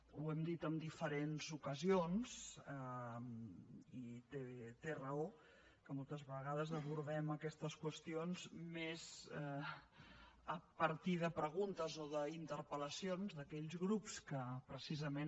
ho hem dit en diferents ocasions i té raó que moltes vegades abordem aquestes qüestions més a partir de preguntes o d’interpel·lacions d’aquells grups que precisament